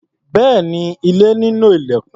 Bẹ́ẹ̀ni, ilé nílò ilẹ̀kùn.